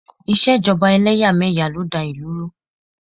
Ìṣèjọba ẹlẹ́yàmẹ̀yà ló da ìlú rú